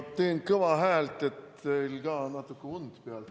Ma teen kõva häält, et natuke teie und ära ajada.